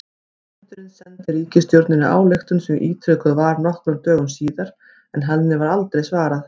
Fundurinn sendi ríkisstjórninni ályktun sem ítrekuð var nokkrum dögum síðar, en henni var aldrei svarað.